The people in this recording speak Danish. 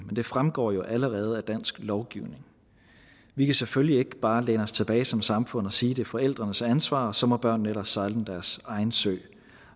det fremgår jo allerede af dansk lovgivning vi kan selvfølgelig ikke bare læne os tilbage som samfund og sige at det er forældrenes ansvar og så må børnene ellers sejle deres egen sø